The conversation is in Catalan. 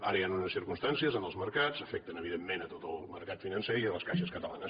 ara hi han unes circumstàncies en els mercats que afecten evidentment tot el mercat financer i les caixes catalanes